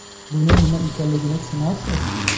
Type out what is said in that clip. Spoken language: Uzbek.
Bu nima ekanligi tushunarsiz.